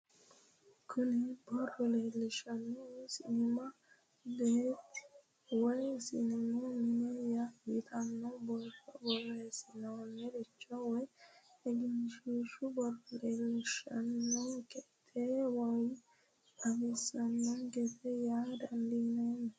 Kuni boro lelishanohu sinima beete woyi sinimu mine yitano boro boresantinoricho woyi egenshishu booro leesishanonike te woyi xawisanonikete yaa dandineemo